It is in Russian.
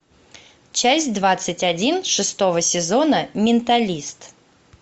часть двадцать один шестого сезона менталист